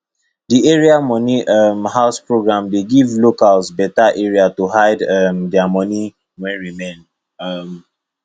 the area money um house program dey give locals better area to hide um their money wen remain um